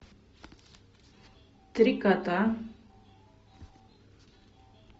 три кота